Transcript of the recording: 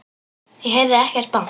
Ég heyrði ekkert bank.